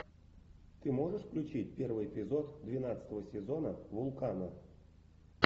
ты можешь включить первый эпизод двенадцатого сезона вулкана